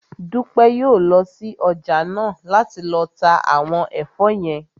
Dúpẹ́ yóò lọ sí ọjà náà láti lọ ta àwọn ẹ̀fọ́ yẹn